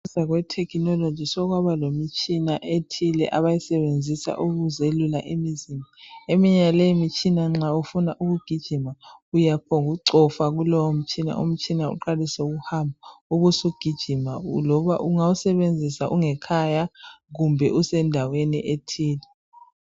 Kwetechnology sokwaba lemitshina ethile abayisebenzisa ukuze lula imizimba eminye yaleyo mitshina nxa ufuna ukugijima uyaphongu cofa kulowo mtshina, umtshina uqalisele ukuhamba ubusugijima loba ungawusebenzisa ungekhaya kumbe usendaweni ethile.